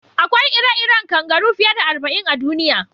Akwai ire-iren kangaru fiye da arba'in a duniya.